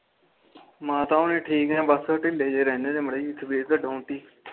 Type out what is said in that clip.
ਮਾਤਾ ਹੋਣੀ ਠੀਕ ਨੇ ਬਸ ਢਿੱਲੇ ਜੇ ਰਹਿੰਦੇ ਮਰਿ ਜੀ ਤਬੀਯਤ